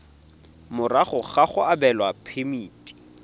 morago ga go abelwa phemiti